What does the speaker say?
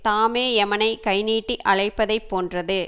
தாமே எமனைக் கை நீட்டி அழைப்பதைப் போன்றது